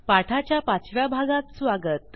पाठाच्या पाचव्या भागात स्वागत